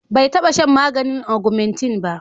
bai taba shan maganin ogmentin ba